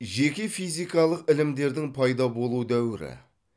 жеке физикалық ілімдердің пайда болу дәуірі